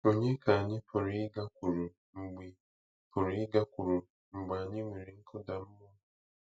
Ònye ka anyị pụrụ ịgakwuru mgbe pụrụ ịgakwuru mgbe anyị nwere nkụda mmụọ?